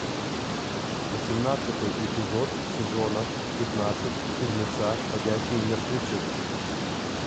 восемнадцатый эпизод сезона пятнадцать фильмеца ходячие мертвецы